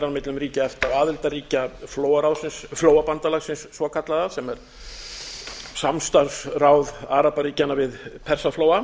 á milli ríkja efta og aðildarríkja flóabandalagsins svokallaða sem er samstarfsráð arabaríkjanna við persaflóa